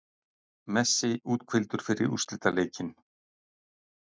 Messi úthvíldur fyrir úrslitaleikinn